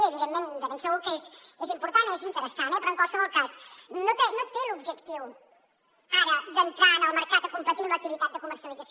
i evidentment de ben segur que és important i és interessant però en qualsevol cas no té l’objectiu ara d’entrar en el mercat a competir en l’activitat de comercialització